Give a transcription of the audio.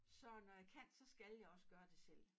Så når jeg kan så skal jeg også gøre det selv